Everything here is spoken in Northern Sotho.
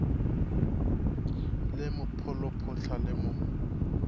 le mo pholophotha le mo